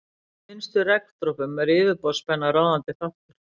Í minnstu regndropum er yfirborðsspenna ráðandi þáttur.